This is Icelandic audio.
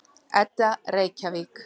Edda, Reykjavík.